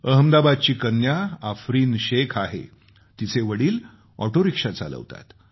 अहमदाबादची कन्या आफरीन शेख़ आहे तिचे वडील ऑटो रिक्षा चालवतात